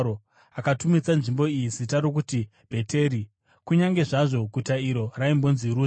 Akatumidza nzvimbo iyi zita rokuti Bheteri, kunyange zvazvo guta iro raimbonzi Ruzi.